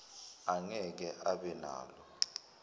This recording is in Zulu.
angeke abe nalo